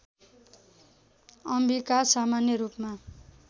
अम्बिका सामान्य रूपमा